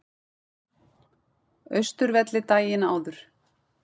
Austurvelli daginn áður.